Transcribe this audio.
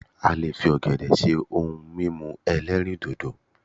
a lè fi ògèdè ṣe òun mímu elerindodo